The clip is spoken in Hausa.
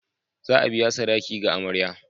Za a biya sadaki ga amarya.